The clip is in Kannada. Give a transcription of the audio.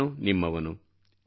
ನಾನು ನಿಮ್ಮವನು